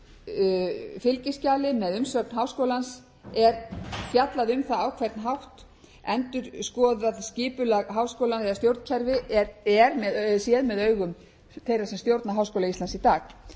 þessu fylgiskjali með umsögn háskólans er fjallað um það á hvern hátt endurskoðað skipulag háskólans eða stjórnkerfi er séð með augum þeirra sem stjórna háskóla íslands í dag